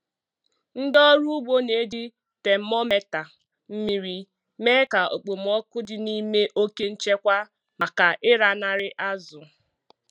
Ndị ọrụ ugbo na-eji temometa mmiri mee ka okpomọkụ dị n'ime oke nchekwa maka ịlanarị azụ.